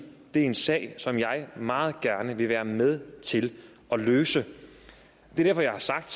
er en sag som jeg meget gerne vil være med til at løse det er derfor jeg har sagt